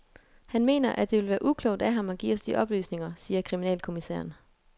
Han mener, at det vil være uklogt af ham at give os de oplysninger, siger kriminalkommissæren.